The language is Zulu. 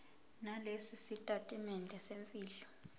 nalesi sitatimende semfihlo